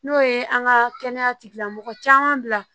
N'o ye an ka kɛnɛya tigilamɔgɔ caman bila